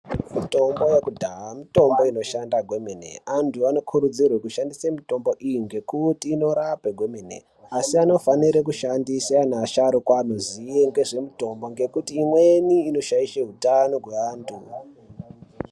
Mitombo yekudhaya mitombo inoshanda kwemene. Antu anokurudzirwe muti vashandise mitombo iyi nekuti inorape kwemene, Asi anofanire kushandise anhu asharukwa anoziye ngezvemitombo ngekuti imweni inoshaishe utano hweantu.